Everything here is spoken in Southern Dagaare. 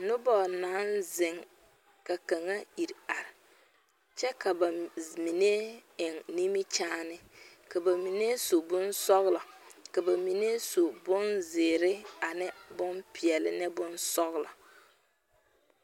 Noba naŋ zeŋ ka kaŋa iri are, kyɛ ka ba mine eŋe nimikyaane ka ba mine su bonsɔglɔ. ka ba mine su bonzeɛre ane bonpɛɛle ne bonsɔglɔ.